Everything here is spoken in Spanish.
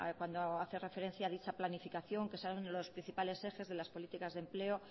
cuando hace referencia a dicha planificación que son los principales ejes de las políticas de empleo